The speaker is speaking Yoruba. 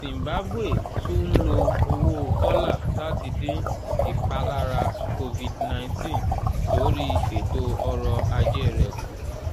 zimbabwe tún ń lo owó dọ́là láti dín ìpalára cs] covid-nineteen lórí ètò ọrọ̀ ajé rẹ̀ kù